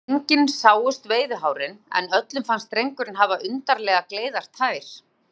Engin sáust veiðihárin, en öllum fannst drengurinn hafa undarlega gleiðar tær.